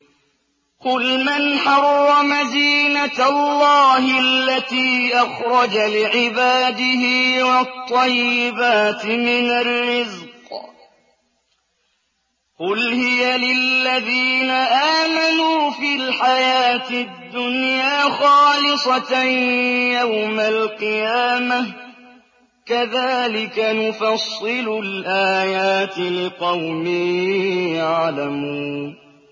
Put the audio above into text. قُلْ مَنْ حَرَّمَ زِينَةَ اللَّهِ الَّتِي أَخْرَجَ لِعِبَادِهِ وَالطَّيِّبَاتِ مِنَ الرِّزْقِ ۚ قُلْ هِيَ لِلَّذِينَ آمَنُوا فِي الْحَيَاةِ الدُّنْيَا خَالِصَةً يَوْمَ الْقِيَامَةِ ۗ كَذَٰلِكَ نُفَصِّلُ الْآيَاتِ لِقَوْمٍ يَعْلَمُونَ